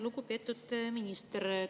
Lugupeetud minister!